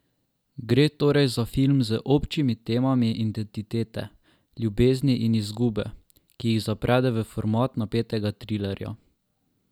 Gre torej za film z občimi temami identitete, ljubezni in izgube, ki jih zaprede v format napetega trilerja.